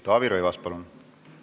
Taavi Rõivas, palun!